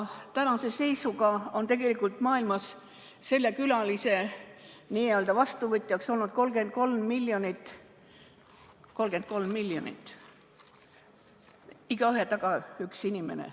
Tänase seisuga on tegelikult maailmas selle külalise n-ö vastuvõtjaks olnud 33 miljonit, igaühe taga üks inimene.